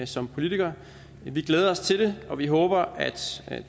som politiker men vi glæder os til det og vi håber at